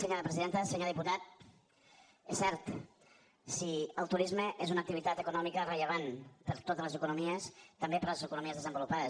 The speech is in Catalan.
senyor diputat és cert sí el turisme és una activitat econòmica rellevant per a totes les economies també per a les economies desenvolupades